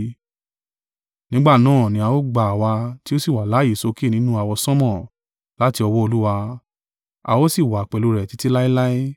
Nígbà náà ni a ó gba àwa tí ó sì wà láààyè sókè nínú àwọsánmọ̀ láti ọwọ́ Olúwa. A ó sì wà pẹ̀lú rẹ̀ títí láéláé.